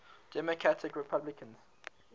democratic republicans